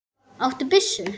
Áttu byssu?